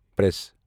press